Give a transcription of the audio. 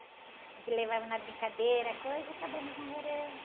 A gente levava na brincadeira a coisa e acabamos namorando.